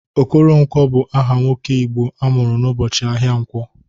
Okoronkwo bụ aha nwoke Igbo amụrụ n'ụbọchị ahịa nkwọ.